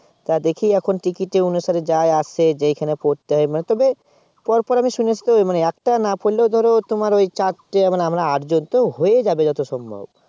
তাতে কি এখন Ticket অনুসারে যায় আছে যেখানে পড়তে হয় তবে পরপর আমি শুনেছি তো একটা না পড়লে ধরো তোমার ওই চারটে মানে আমরা আটজন তো হয়ে যাবে যত সম্ভব